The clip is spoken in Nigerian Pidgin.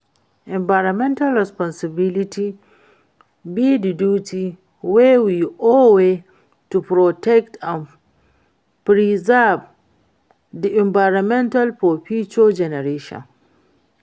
Environmental responsibility be di duty wey we owe to protect and preserve di environment for future generations.